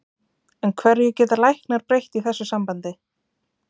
En hverju geta læknar breytt í þessu sambandi?